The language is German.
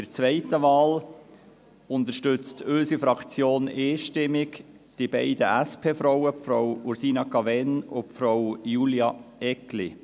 Bei der zweiten Wahl unterstützt unsere Fraktion einstimmig die beiden SP-Frauen: Frau Ursina Cavegn und Frau Julia Eggli.